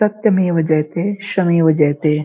सत्यमेव जयते श्रमेव जयते।